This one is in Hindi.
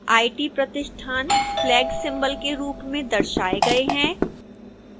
आईटी प्रतिष्ठान फ्लैग सिंबल के रूप में दर्शाए गए हैं